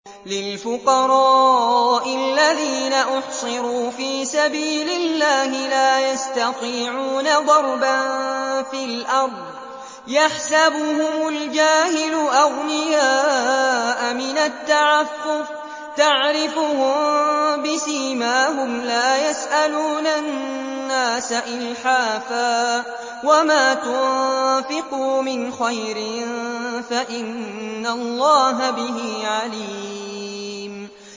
لِلْفُقَرَاءِ الَّذِينَ أُحْصِرُوا فِي سَبِيلِ اللَّهِ لَا يَسْتَطِيعُونَ ضَرْبًا فِي الْأَرْضِ يَحْسَبُهُمُ الْجَاهِلُ أَغْنِيَاءَ مِنَ التَّعَفُّفِ تَعْرِفُهُم بِسِيمَاهُمْ لَا يَسْأَلُونَ النَّاسَ إِلْحَافًا ۗ وَمَا تُنفِقُوا مِنْ خَيْرٍ فَإِنَّ اللَّهَ بِهِ عَلِيمٌ